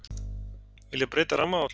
Vilja breyta rammaáætlun